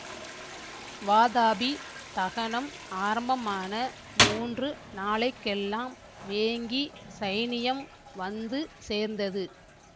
வாதாபி தகனம் ஆரம்பமான மூன்று நாளை கெல்லாம் வேங்கி சைனியம் வந்து சேர்ந்தது